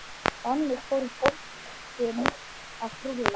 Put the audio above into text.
Þannig fór boltinn að rúlla.